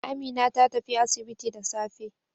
Amina ta tafi asibiti da safe.